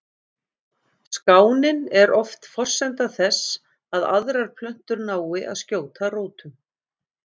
Skánin er oft forsenda þess að aðrar plöntur nái að skjóta rótum.